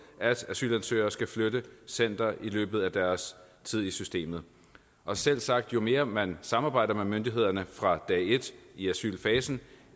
at asylansøgere skal flytte center i løbet af deres tid i systemet og selvsagt jo mere man samarbejder med myndighederne fra dag et i asylfasen